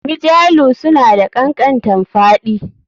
Mjalu suna da kankantanfaɗi